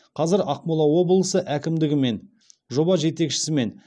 қазір ақмола облысы әкімдігі мен жоба жетекшісімен